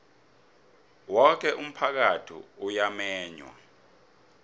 woke umphakathi uyamenywa